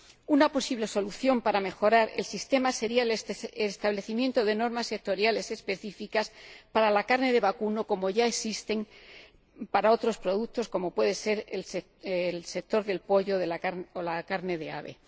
Una posible solución para mejorar el sistema sería el establecimiento de normas sectoriales específicas para la carne de vacuno, como ya existen para otros productos, como pueden ser los del sector del pollo o la carne de ave.